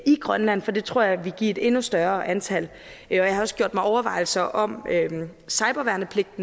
i grønland for det tror jeg ville give et endnu større antal jeg har også gjort mig overvejelser om cyberværnepligt